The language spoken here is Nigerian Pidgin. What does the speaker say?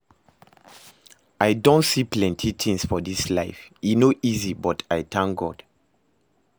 I don see plenty things for this life, e no easy but I thank God